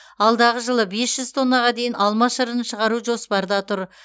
алдағы жылы бес жүз тоннаға дейін алма шырынын шығару жоспарда тұр